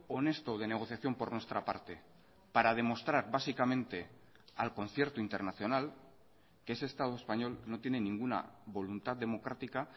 honesto de negociación por nuestra parte para demostrar básicamente al concierto internacional que ese estado español no tiene ninguna voluntad democrática